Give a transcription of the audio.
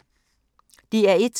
DR1